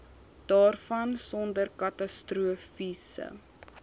daarvan sonder katastrofiese